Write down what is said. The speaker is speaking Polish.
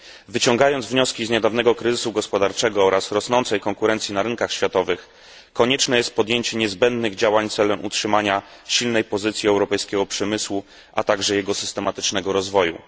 Wyciągając wnioski z niedawnego kryzysu gospodarczego oraz rosnącej konkurencji na rynkach światowych, konieczne jest podjęcie niezbędnych działań celem utrzymania silnej pozycji europejskiego przemysłu, a także jego systematycznego rozwoju.